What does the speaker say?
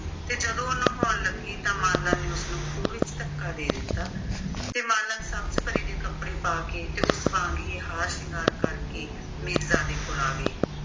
ਤੇ ਜਦੋਂ ਉਹ ਨਹਾਉਣ ਲੱਗੀ ਤਾਂ ਮਾਲਣ ਨੇ ਉਸਨੂੰ ਖੂਹ ਵਿੱਚ ਧੱਕਾ ਦੇ ਦਿੱਤਾ ਤੇ ਮਾਲਣ ਸਬਜ਼ ਪਰੀ ਦੇ ਕੱਪੜੇ ਪਾ ਕੇ ਤੇ ਉਸ ਵਾਂਗ ਹੀ ਹਾਰ ਸ਼ਿੰਗਾਰ ਕਰ ਕੇ ਮੀਰਜ਼ਾਦੇ ਕੋਲ ਆ ਗਈ